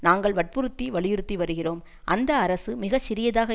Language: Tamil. நாங்கள் வற்புறுத்தி வலியுறுத்தி வருகிறோம் அந்த அரசு மிக சிறியதாக